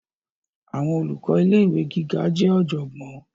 Àwọn olùkọ ilé ìwé gíga jẹ ọjọgbọn.